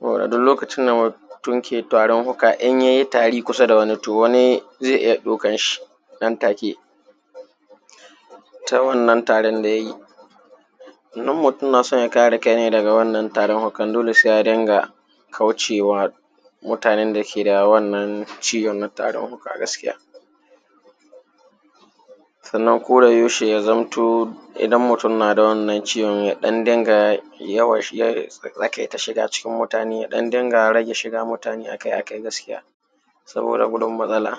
Saboda duk lokacin da mutum ke tarin fuka, in yayi tari kusa da wani to wani zai iya ɗaukan shi nan take ta wannan tarin da yayi. Idan mutum na so ya kare kai nai daga wannan tarin fukan dole sai ya dinga kaucewa mutanen dake da wannan ciwon na tarin fuka gaskiya, sannan ko da yaushe ya zamto idan mutum naa da wannan ciwo ya ɗan dinga yawan tsakaita cikin mutane ya ɗan dinga rage shiga mutaane akai-akai gaskiya saboda gudun matsala.